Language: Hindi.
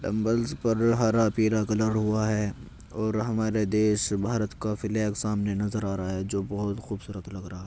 डम्बल्स पर हरा पीला कलर हुआ रहा है और हमारे देश भारत का फ्लैग सामने नजर आ रहा है जो बोहोत खूबसूरत लग रहा है।